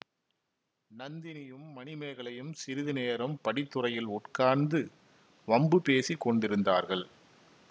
நந்தினியும் மணிமேகலையும் சிறிது நேரம் படித்துறையில் உட்கார்ந்து வம்பு பேசி கொண்டிருந்தார்கள்